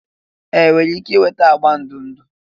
Ee! ị nwere ike ịnweta agba ndụ ndụ.